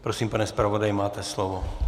Prosím, pane zpravodaji, máte slovo.